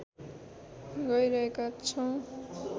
गैरहेका छौँ